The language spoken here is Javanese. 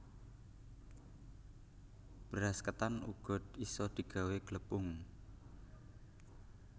Beras ketan uga isa digawé glepung